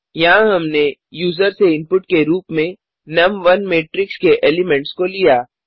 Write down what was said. यहाँ हमने यूज़र से इनपुट के रूप में नुम1 मेट्रिक्स के एलिमेंट्स को लिया